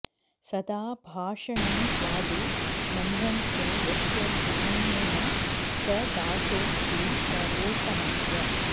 सदा भाषणं स्वादु नम्रञ्च यस्य सुधन्यः स दासोऽस्ति सर्वोत्तमस्य